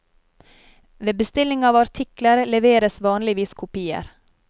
Ved bestilling av artikler leveres vanligvis kopier.